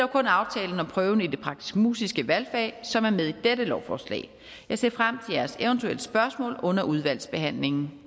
kun aftalen om prøven i de praktisk musiske valgfag som er med i dette lovforslag jeg ser frem til jeres eventuelle spørgsmål under udvalgsbehandlingen